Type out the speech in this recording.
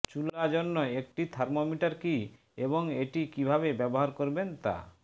চুলা জন্য একটি থার্মোমিটার কি এবং এটি কিভাবে ব্যবহার করবেন তা